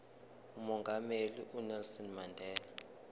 umongameli unelson mandela